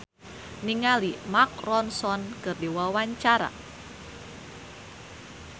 Ahmad Al-Ghazali olohok ningali Mark Ronson keur diwawancara